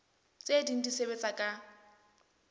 tse ding di sebetsa ka